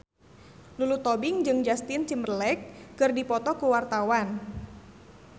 Lulu Tobing jeung Justin Timberlake keur dipoto ku wartawan